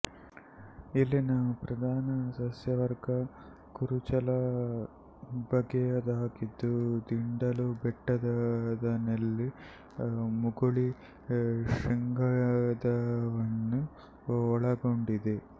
ಇಲ್ಲಿನ ಪ್ರಧಾನ ಸಸ್ಯವರ್ಗ ಕುರುಚಲು ಬಗೆಯದಾಗಿದ್ದು ದಿಂಡಲು ಬೆಟ್ಟದನೆಲ್ಲಿ ಮುಗುಳಿ ಶ್ರೀಗಂಧವನ್ನು ಒಳಗೊಂಡಿದೆ